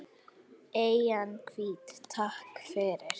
Eyjan hvíta, takk fyrir.